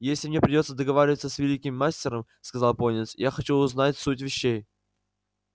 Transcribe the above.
если мне придётся договариваться с великим мастером сказал пониетс я хочу знать суть вещей